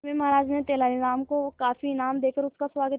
अंत में महाराज ने तेनालीराम को काफी इनाम देकर उसका स्वागत किया